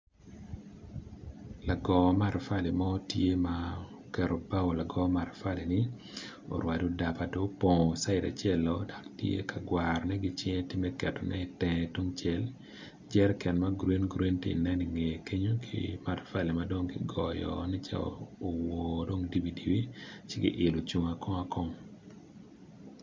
Lago matafali mo tye ma oketo bao lago matafali-ni, orwado daba dong opongo caid acel-lo dok tye ka gwarone ki cinge me ketone itenge tungcel, jeriken ma gurin gurin ti nen ingeye kenyo ki matafali madong kigoyo nen calo owoo dibidibi ci ki yilo ocung akong akong.